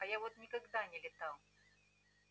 а я вот никогда не летал